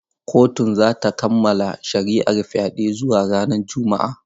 Kotun za ta kammala shari’ar fyaɗen zuwa ranar Juma’a.